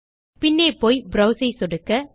பின்னே போய் ப்ரோவ்ஸ் ஐ சொடுக்க